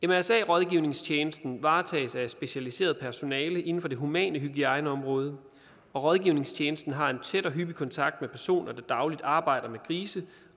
mrsa rådgivningstjensten varetages af specialiseret personale inden for det humane hygiejneområde og rådgivningstjenesten har en tæt og hyppig kontakt med personer der dagligt arbejder med grise